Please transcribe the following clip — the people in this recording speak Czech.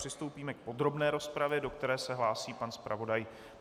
Přistoupíme k podrobné rozpravě, od které se hlásí pan zpravodaj.